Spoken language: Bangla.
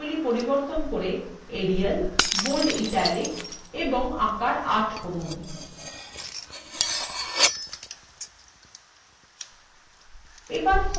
এবং ফন্টের style পরিবর্তন করে এরিয়াল bold italic এবং আকার ৮ করুন